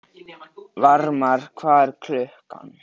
Varmar, hvað er klukkan?